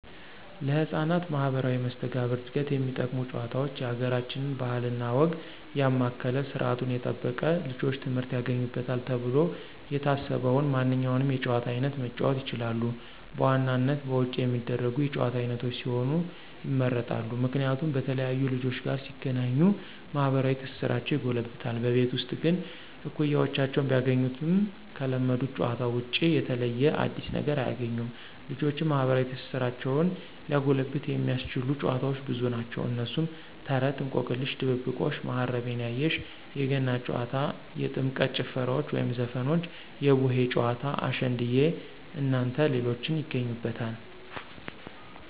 ለህፃናት ማህበራዊ መስተጋብር ዕድገት የሚጠቅሙ ጭዋታውች የአገራችንን ባህል እና ወግ ያማከለ ስርዓቱን የጠበቀ ልጆች ትምህርት ያገኙበታል ተብሎ የታሰበውን ማንኛውንም የጨዋታ አይነት መጫወት ይችላሉ። በዋናነት በውጭ የሚደረጉ የጭዋታ አይነቶች ቢሆኑ ይመረጣል። ምክንያቱም በተለያዩ ልጆች ጋር ሲገናኙ ማህበራዊ ትስስራቸው ይጎለብታል። በቤት ውስጥ ግን እኩያወችን ቢያገኙም ከለመዱት ጨዋታዎች ውጭ የተለየ አዲስ ነገር አያግኙም። ልጆችን ማህበራዊ ትስስራቸውን ሊያጎለብት የሚያስችሉ ጨዋታዎች ብዙ ናቸው። እነሱም፦ ተረት፣ እንቆቅልሽ፣ ድብብቆሽ፣ ማሀረቤ ያየሽ፣ የገና ጨዋታ፣ የጥምቀት ጭፈራዎች ወይም ዘፈኖች፣ የቡሄ ጨዋታ፣ አሸንድየ እናንተ ሌሎችን ይገኙበታል።